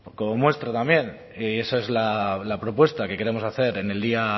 como muestra también y esa es la propuesta que queremos hacer en el día